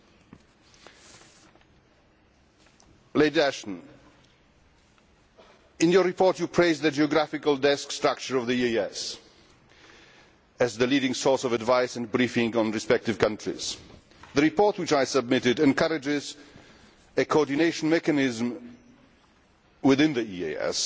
Baroness Ashton, in your report you praise the geographical desk structure of the EEAS as the leading source of advice and briefing on respective countries. The report which I submitted encourages a coordination mechanism within the